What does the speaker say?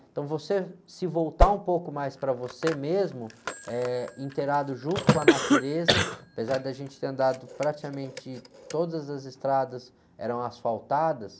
Então você se voltar um pouco mais para você mesmo, eh, inteirado junto com a natureza, apesar de a gente ter andado praticamente todas as estradas eram asfaltadas,